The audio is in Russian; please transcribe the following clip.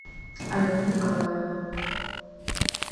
алена николаева